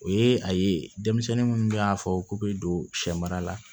O ye a ye denmisɛnnin munnu bɛ y'a fɔ k'u bɛ don sɛ mara la